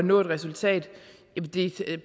nå et resultat